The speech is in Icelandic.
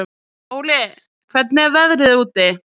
Óli, hvernig er veðrið úti?